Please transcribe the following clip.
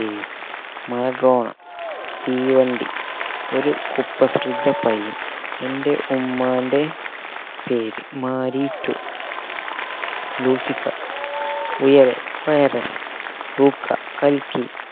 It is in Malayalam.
Maradona Theevandi Oru Kuprasidha Payyan Ente Ummante Peru Maari two Lucifer Uyare Virus Luca കൽക്കി